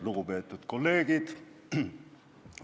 Lugupeetud kolleegid!